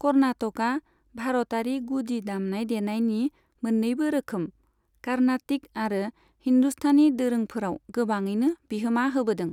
कर्नाटका भारतारि गुदि दामनाय देनायनि मोन्नैबो रोखोम, कार्नाटिक आरो हिंदुस्तानी दोरोंफोराव गोबाङैनो बिहोमा होबोदों।